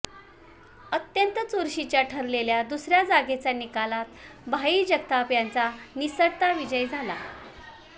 अत्यंत चुरशीच्या ठरलेल्या दुसऱ्या जागेच्या निकालात भाई जगताप यांचा निसटता विजय झाला